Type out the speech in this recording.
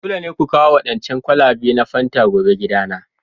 Dole ne ku kawo waɗancan kwalabe na fanta gobe gidana!